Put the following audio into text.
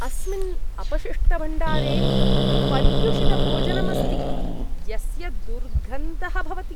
अस्मिन् अपशिष्टभाण्डारे पर्युषितभोजनम् अस्ति यस्य दुर्गन्धः भवति।